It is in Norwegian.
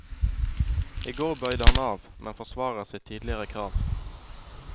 I går bøyde han av, men forsvarer sitt tidligere krav.